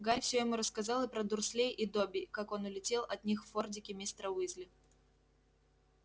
гарри все ему рассказал про дурслей и добби как он улетел от них в фордике мистера уизли